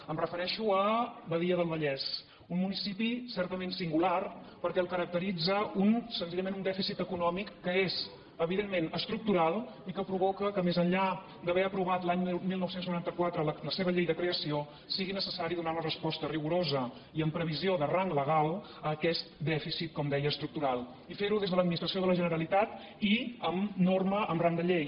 em refereixo a badia del vallès un municipi certament singular perquè el caracteritza senzillament un dèficit econòmic que és evidentment estructural i que provoca que més enllà d’haver aprovat l’any dinou noranta quatre la seva llei de creació sigui necessari donar una resposta rigorosa i amb previsió de rang legal a aquest dèficit com deia estructural i fer ho des de l’administració de la generalitat i amb norma amb rang de llei